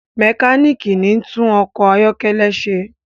mekaniki ní tún ọkọ ayọkẹlẹ ṣe